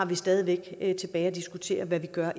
vi stadig væk har tilbage at diskutere hvad vi gør